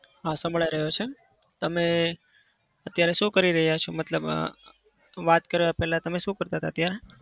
હા સંભળાઈ રહ્યો છે. તમે અત્યારે શું કરી રહ્યા છો? મતલબ અમ વાત કર્યા પહેલા તમે શું કરતા હતા ત્યાં?